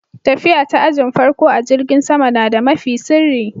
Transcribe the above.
Tafiya ta ajin farko a'jirigin sama na da mafi sirri.